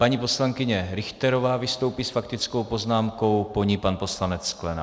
Paní poslankyně Richterová vystoupí s faktickou poznámkou, po ní pan poslanec Sklenák.